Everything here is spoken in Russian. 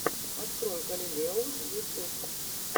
открой галилео ютьюб